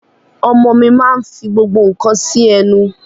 Ọmọ mi máa nfi gbogbo nka si ẹnu